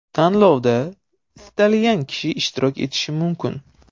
Tanlovda istalgan kishi ishtirok etishi mumkin.